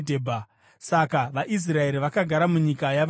Saka vaIsraeri vakagara munyika yavaAmori.